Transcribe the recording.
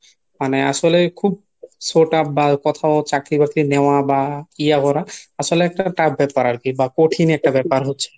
মানে আসলে খুব so tough বা কোথাও চাকরি বাকরি নেওয়া বা ইয়া করা আসলে একটা tough ব্যাপার আরকি বা কঠিন একটা ব্যাপার হচ্ছে